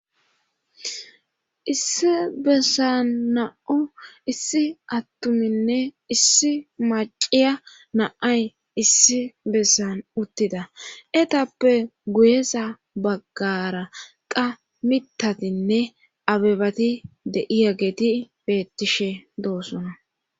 issi bessan na'u issi attuminne issi maciya naay issi bessan uttida etappe guyesa baggara qa mitatinne abebati de7iya geeti bettishe doossona